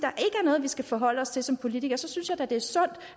at vi skal forholde os til som politikere så synes jeg da det er sundt